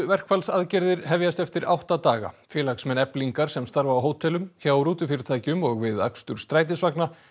verkfallsaðgerðir hefjast eftir átta daga félagsmenn Eflingar sem starfa á hótelum hjá rútufyrirtækjum og við akstur strætisvagna